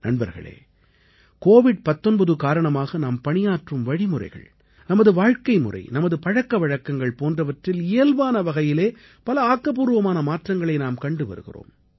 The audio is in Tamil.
நண்பர்களே கோவிட் 19 காரணமாக நாம் பணியாற்றும் வழிமுறைகள் நமது வாழ்க்கைமுறை நமது பழக்க வழக்கங்கள் போன்றவற்றில் இயல்பான வகையிலே பல ஆக்கப்பூர்வமான மாற்றங்களை நாம் கண்டு வருகிறோம்